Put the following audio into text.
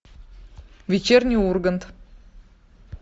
вечерний ургант